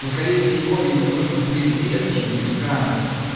ну скорее всего им нужен предмет чингисхана